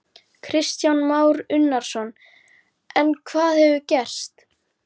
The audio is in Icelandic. Kristján Már Unnarsson: En hvað hefur gerst?